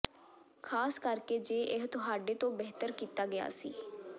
ਖ਼ਾਸ ਕਰਕੇ ਜੇ ਇਹ ਤੁਹਾਡੇ ਤੋਂ ਬਿਹਤਰ ਕੀਤਾ ਗਿਆ ਸੀ